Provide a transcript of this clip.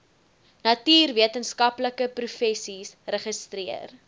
natuurwetenskaplike professies registreer